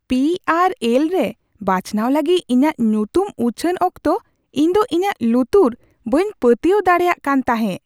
P R L ᱨᱮ ᱵᱟᱪᱷᱱᱟᱣ ᱞᱟᱹᱜᱤᱫ ᱤᱧᱟᱹᱜ ᱧᱩᱛᱩᱢ ᱩᱪᱷᱟᱹᱱ ᱚᱠᱛᱚ ᱤᱧᱫᱚ ᱤᱧᱟᱹᱜ ᱞᱩᱛᱩᱨ ᱵᱟᱹᱧ ᱯᱟᱹᱛᱭᱟᱹᱣ ᱫᱟᱲᱮᱭᱟᱜ ᱠᱟᱱ ᱛᱟᱦᱮᱸ ᱾